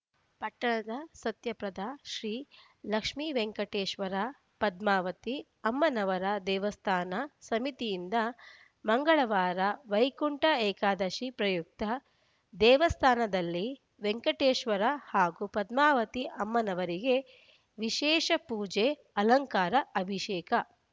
ಪಟ್ಟಣದ ಸತ್ಯಪ್ರದ ಶ್ರೀ ಲಕ್ಷ್ಮೀ ವೆಂಕಟೇಶ್ವರ ಪದ್ಮಾವತಿ ಅಮ್ಮನವರ ದೇವಸ್ಥಾನ ಸಮಿತಿಯಿಂದ ಮಂಗಳವಾರ ವೈಕುಂಠ ಏಕಾದಶಿ ಪ್ರಯುಕ್ತ ದೇವಸ್ಥಾನದಲ್ಲಿ ವೆಂಕಟೇಶ್ವರ ಹಾಗೂ ಪದ್ಮಾವತಿ ಅಮ್ಮನವರಿಗೆ ವಿಶೇಷ ಪೂಜೆ ಅಲಂಕಾರ ಅಭಿಷೇಕ